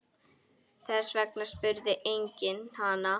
Þess vegna spurði enginn hana.